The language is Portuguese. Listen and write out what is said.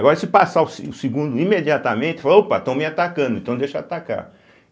Agora se passar o se o segundo imediatamente, ela fala opa, estão me atacando, então deixa eu atacar.